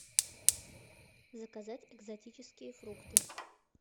заказать экзотические фрукты